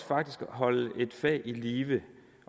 faktisk holde et fag i live